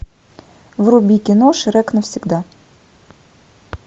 вруби кино шрек навсегда